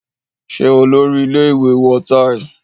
Ṣé Olórí-ile ìwé wọ táì?